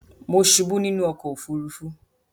Mo subú nínú okò òfurufú